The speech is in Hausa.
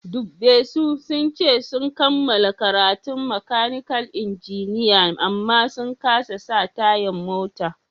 Dubbe su, sun ce sun kamala karatun makanikal injiniya amma sun kasa sa tayan mota.